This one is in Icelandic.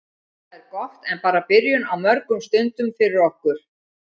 Það er gott en bara byrjun á mörgum stundum fyrir okkur.